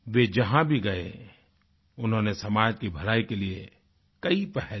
वे जहाँ भी गए उन्होंने समाज की भलाई के लिए कई पहल की